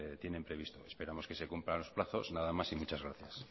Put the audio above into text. tienen previsto esperamos que se cumplan los plazos nada más y muchas gracias